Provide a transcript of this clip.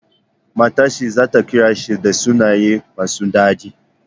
Matar shi zata kira shi da sunaye masu dadi?